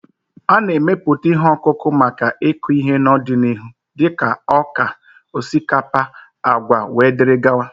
A na-emepụta ihe ọkụkụ maka ịkụ ihe n'ọdịnihu dịka ọka, osikapa, agwa wdg